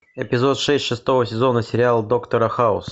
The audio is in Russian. эпизод шесть шестого сезона сериала доктора хаус